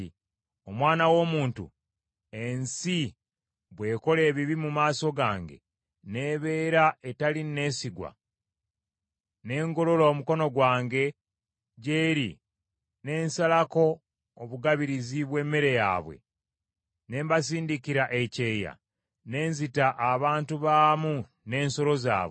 “Omwana w’omuntu, ensi bw’ekola ebibi mu maaso gange n’ebeera etali nneesigwa, ne ngolola omukono gwange gy’eri ne nsalako obugabirizi bw’emmere yaabwe, ne mbasindikira ekyeya, ne nzita abantu baamu n’ensolo zaabwe,